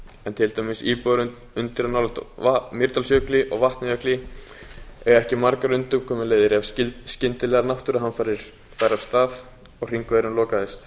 en til dæmis íbúar undir og nálægt mýrdalsjökli og vatnajökli eiga ekki margar undankomuleiðir ef skyndilegar náttúruhamfarir færu af stað og hringvegurinn lokaðist